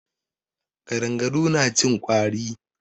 Ƙadangaru na cin ƙwari.